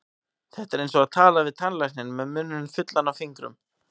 Þetta er eins og tala við tannlækninn með munninn fullan af fingrum.